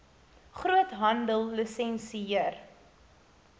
groothandellisensier